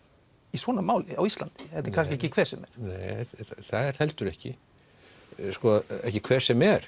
í svona máli á Íslandi þetta er kannski ekki hver sem er nei það er heldur ekki ekki hver sem er